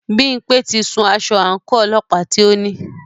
Bímpé ti sun aṣọ àńkò ọlọ́pàá tí o ní.